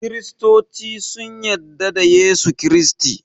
kiristoci sun yadda da Yesu kiristi